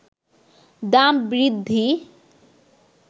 দাম বৃদ্ধি